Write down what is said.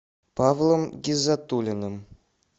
павлом гиззатуллиным